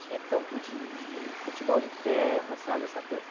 Tinha campo de futebol de, de terra, sabe, essa coisa.